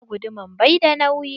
Aa guduman bai da nauyi.